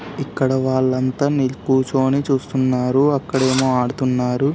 ఇక్కడ వాళ్లంతా కూర్చొని చూస్తున్నారు అక్కఎదేమో ఆడుతున్నారు.